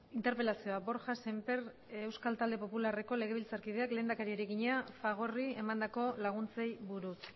interpelazioa borja sémper pascual euskal talde popularreko legebiltzarkideak lehendakariari egina fagorri emandako laguntzei buruz